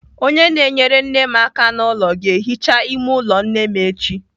Onye na-enyere nne m aka n'ụlọ ga-ehicha ime ụlọ nne m echi.